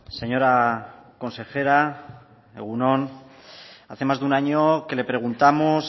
señora consejera egun on hace más de un año que le preguntamos